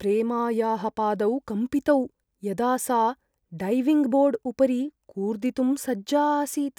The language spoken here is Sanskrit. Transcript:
प्रेमायाः पादौ कम्पितौ, यदा सा डैविङ्ग् बोर्ड् उपरि कूर्दितुम् सज्जा आसीत्।